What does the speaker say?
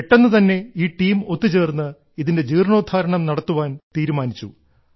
പെട്ടെന്നു തന്നെ ഈ ടീം ഒത്തുചേർന്ന് ഇതിന്റെ ജീർണ്ണോദ്ധാരണം നടത്തുവാൻ തീരുമാനിച്ചു